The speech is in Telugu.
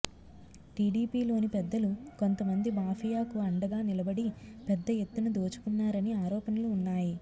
టీడీపీలోని పెద్దలు కొంత మంది మాఫియాకు అండగా నిలబడి పెద్ద ఎత్తున దోచుకున్నారని ఆరోపణలు వున్నాయి